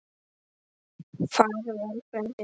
Far vel, frændi minn.